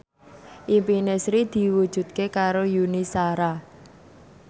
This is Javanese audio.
impine Sri diwujudke karo Yuni Shara